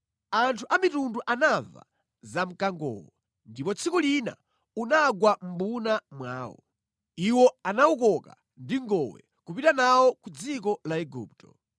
Anthu amitundu anamva za mkangowo, ndipo tsiku lina unagwa mʼmbuna mwawo. Iwo anawukoka ndi ngowe kupita nawo ku dziko la Igupto.